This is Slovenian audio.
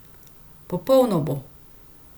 Popolno bo.